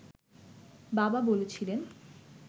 বাবা বলেছিলেন